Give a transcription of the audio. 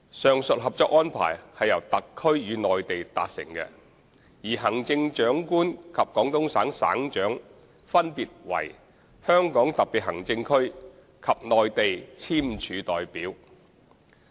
上述《合作安排》是由特區與內地達成的，而行政長官及廣東省省長分別為香港特別行政區及內地簽署代表。